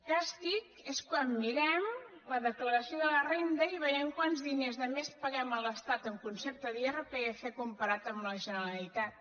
càstig és quan mirem la declaració de la renda i veiem quants diners de més paguem a l’estat en concepte d’irpf comparat amb la generalitat